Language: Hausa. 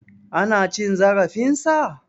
Ana cin zarafin sa?